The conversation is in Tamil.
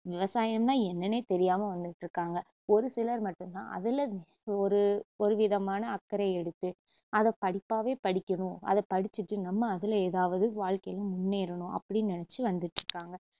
விவசாயம்னா என்னன்னே தெரியாம வந்துட்டுருக்காங்க ஒரு சிலர் மட்டுந்தான் அதுல ஒரு ஒருவிதமான அக்கரை எடுத்து அதை படிப்பாவே படிக்கணும் அதை படிச்சுட்டு நம்ம அதுல ஏதாவது வாழ்க்கையில முன்னேறணும் அப்படின்னு நினச்சு வந்துட்டுருக்காங்க